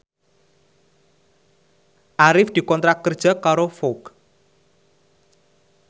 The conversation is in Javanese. Arif dikontrak kerja karo Vogue